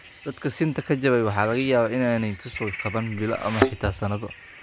Dadka sinta ka jabay waxa laga yaabaa in aanay ka soo kaban bilo ama xitaa sannado.